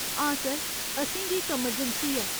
हां सर, असेंगी इक अमरजैंसी ऐ।